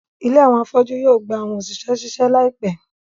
ìlé awọn afọju yoo gba awọn oṣiṣẹ ṣiṣe laipẹ